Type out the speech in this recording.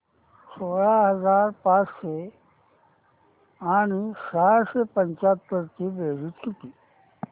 सोळा हजार पाचशे आणि सहाशे पंच्याहत्तर ची बेरीज किती